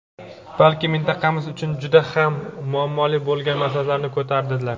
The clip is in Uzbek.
balki mintaqamiz uchun juda ham muammoli bo‘lgan masalalarni ko‘tardilar.